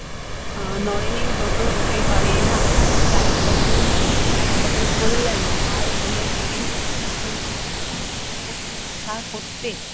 আহ নরেনের ব্রত হতে পারে না। চাই সকলের মুক্তি, সকলের কল্যাণ। আর বলে গেলেন, একটি প্রতিষ্ঠা করতে।